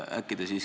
Äkki te siiski ...